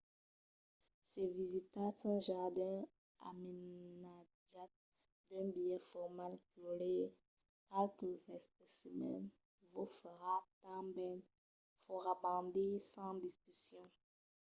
se visitatz un jardin amainatjat d'un biais formal culhir qualques especimèns vos farà tanben fòrabandir sens discussion